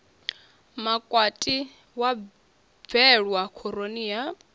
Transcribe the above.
makwati wa bwelwa khoroni ya